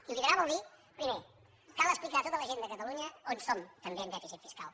i liderar vol dir primer cal explicar a tota la gent de catalunya on som també en dèficit fiscal